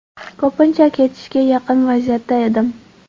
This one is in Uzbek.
Ko‘pincha ketishga yaqin vaziyatda edim.